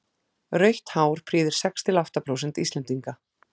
rautt hár prýðir sex til átta prósent íslendinga